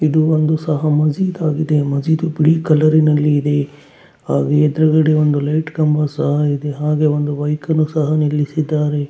ಇದು ಒಂದು ಸಹ ಮಜಿದ್ ಆಗಿದೆ ಮಜೀದ್ ಬಿಳಿ ಕಲರ್ ನಲ್ಲಿ ಇದೆ ಆಹ್ಹ್ ಎದುರುಗಡೆ ಒಂದು ಲೈಟ್ ಕಂಬ ಸಹ ಇದೆ ಹಾಗೆ ವೊಂದು ವೆಹಿಕಲ್ ಸಹ ನಿಲ್ಲಿಸಿದ್ದಾರೆ.